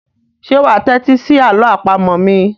Ṣé wà á tẹ́tí sí àlọ́ àpamọ̀ mi?